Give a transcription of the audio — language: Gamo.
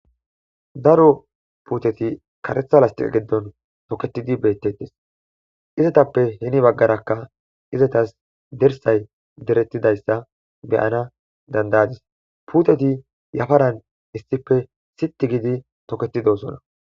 Daro puuteti karetha lastiqa geddon toketidi beettettes izetappe heni baggarakka izetas dersay derettidayssa beyana dandayadis puuteti yafaran issife sitti gidi toketidosona.